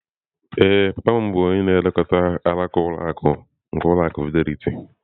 Ee, papa m bụbu onye na-elekọta alaka ụlọ akụ nke ụlọ akụ Fidelity.